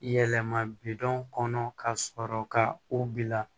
Yɛlɛma bi don kɔnɔ ka sɔrɔ ka o bila